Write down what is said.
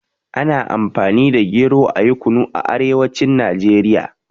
Ana Amfani da gero ayi Kunu a arewacin Najeriya.